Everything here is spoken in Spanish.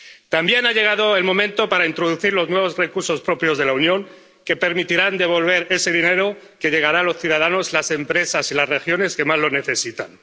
También ha llegado el momento de introducir los nuevos recursos propios de la Unión, que permitirán devolver ese dinero que llegará a los ciudadanos, las empresas y las regiones que más lo necesitan.